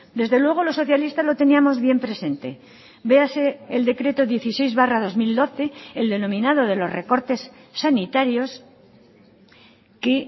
desde luego los socialistas lo teníamos bien presente véase el decreto dieciséis barra dos mil doce el denominado de los recortes sanitarios que